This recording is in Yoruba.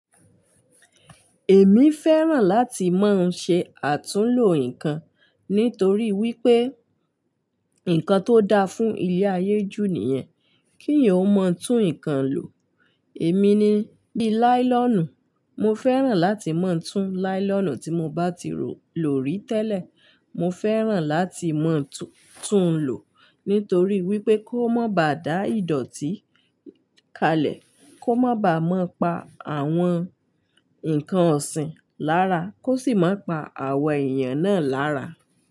Èmi fẹ́ràn láti máa ń ṣe àtúnlo nǹkan nítorí wípé, nǹkan tó da fún ilé ayé jú nìyẹn, kí èèyàn ó mọ tún nǹkan lò. Èmi ni bí láílọ̀nù, mo fẹ́ràn láti máa tún láílọ̀nù tí mo bá ti lórí tẹ́lẹ̀, mo fẹ́ràn láti máa tún lò nítorí wípé kó má ba dá ìdọ̀tí kalẹ̀, kó má ba mọ́ pa àwọn nǹkan ọ̀sìn lára, kó sì má pa àwọn èèyàn náà lára.